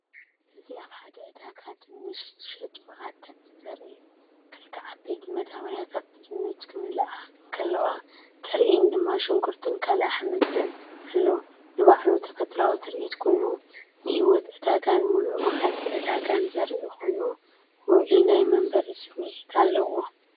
እዚ ኣብ ሓደ ዕዳጋ ድንሽ ዝሸጡ ዓደግቲ ዘርኢ እዩ። ክልተ ዓበይቲ መደበርያታትብድንች ክመልኣ እንከለዋ፡ ብድሕሪአን ድማ ሽጉርትን ካልእ ኣሕምልትን ኣሎ። ንባዕሉ ተፈጥሮኣዊ ትርኢት ኮይኑ፡ ንህይወት ዕዳጋን ምሉእ መዓልቲ ዕዳጋን ዘርኢ ኮይኑ፡ ውዑይ ናይ መንበሪ ስምዒት ኣለዎ።